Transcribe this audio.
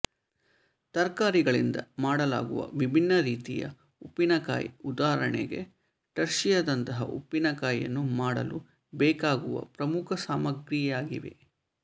ತರಕಾರಿಗಳಿಂದ ಮಾಡಲಾಗುವ ವಿಭಿನ್ನ ರೀತಿಯ ಉಪ್ಪಿನಕಾಯಿ ಉದಾಹರಣೆಗೆ ಟರ್ಶಿಯದಂತಹ ಉಪ್ಪಿನ ಕಾಯಿಯನ್ನು ಮಾಡಲು ಬೇಕಾಗುವ ಪ್ರಮುಖ ಸಾಮಗ್ರಿಯಾಗಿವೆ